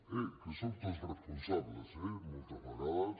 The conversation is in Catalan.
eh que en som tots responsables eh moltes vegades